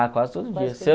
Ah, quase todo dia.